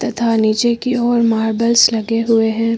तथा नीचे की ओर मार्बल्स लगे हुए हैं।